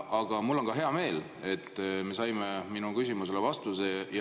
Aga mul on hea meel, et me saime minu küsimusele vastuse.